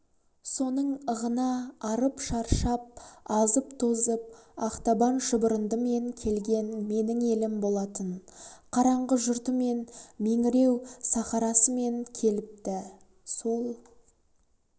соның ығына арып-шаршап азып-тозып ақтабан шұбырындымен келген менің елім болатын қараңғы жұртымен меңіреу сахарасымен келіпті сол